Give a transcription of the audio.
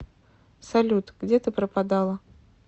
салют где ты пропадала